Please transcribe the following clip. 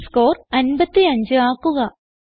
test score 55 ആക്കുക